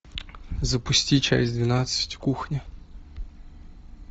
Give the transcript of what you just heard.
запусти часть двенадцать кухня